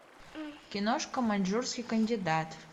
киношка маньчжурский кандидат